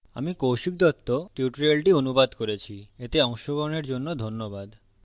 আমি কৌশিক দত্ত tutorial অনুবাদ করেছি এতে অংশগ্রহনের জন্য ধন্যবাদ